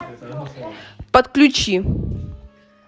подключи